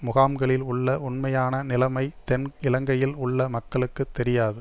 முகாம்களில் உள்ள உண்மையான நிலமை தென் இலங்கையில் உள்ள மக்களுக்கு தெரியாது